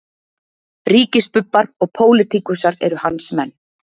Ríkisbubbar og pólitíkusar eru hans menn